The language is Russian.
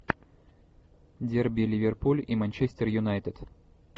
дерби ливерпуль и манчестер юнайтед